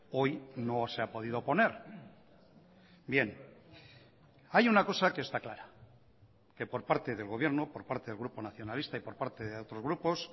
hoy no se ha podido poner bien hay una cosa que está clara que por parte del gobierno por parte del grupo nacionalista y por parte de otros grupos